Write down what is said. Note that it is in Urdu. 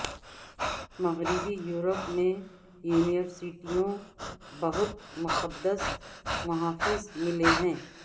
مغربی یورپ میں یونیورسٹیوں بہت مقدس محافظ ملے ہیں